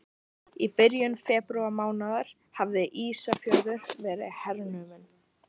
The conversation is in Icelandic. Í byrjun febrúarmánaðar hafði Ísafjörður verið hernuminn.